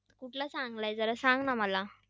कुठला चांगला आहे? जरा सांग ना मला.